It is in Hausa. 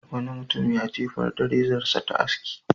Wani mutum ya jefar da rezarsa ta aski.